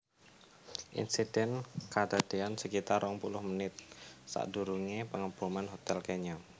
Insiden kadadean sekitar rong puluh menit sakdurunge Pengeboman hotel Kenya